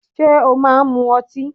Ṣé ó máa ń mu ọtí?